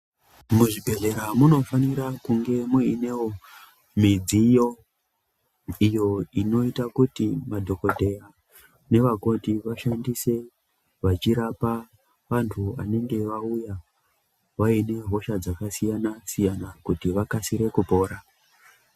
Muzvibhedhlera munofanira kunge muinewo midziyo inoita kuti madhokodheya nevakoti vashandise vachirapa vantu vanenge vauya vaine hosha dzakasiyana-siyana kuti vakasire kupora.